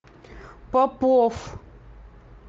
попов